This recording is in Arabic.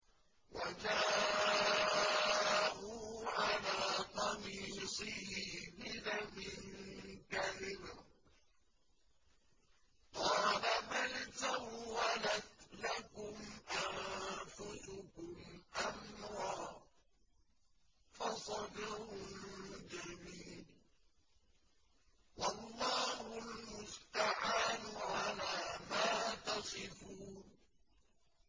وَجَاءُوا عَلَىٰ قَمِيصِهِ بِدَمٍ كَذِبٍ ۚ قَالَ بَلْ سَوَّلَتْ لَكُمْ أَنفُسُكُمْ أَمْرًا ۖ فَصَبْرٌ جَمِيلٌ ۖ وَاللَّهُ الْمُسْتَعَانُ عَلَىٰ مَا تَصِفُونَ